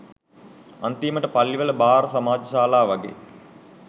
අන්තිමට පල්ලිවල බාර් සමාජ ශාලා වගේ